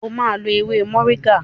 O ma lo ewé moringa!